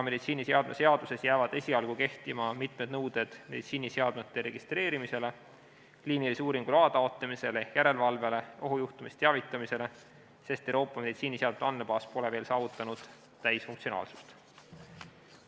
Meditsiiniseadme seaduses jäävad esialgu kehtima mitmed nõuded meditsiiniseadmete registreerimisele, kliinilise uuringu loa taotlemisele ehk järelevalvele, ohujuhtumist teavitamisele, sest Euroopa meditsiiniseadmete andmebaas pole veel saavutanud täisfunktsionaalsust.